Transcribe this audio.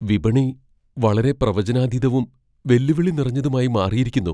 വിപണി വളരെ പ്രവചനാതീതവും വെല്ലുവിളി നിറഞ്ഞതുമായി മാറിയിരിക്കുന്നു.